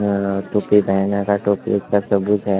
अं टोपी बहेने गा का टोपी उसका सबूत है।